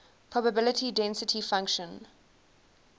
probability density function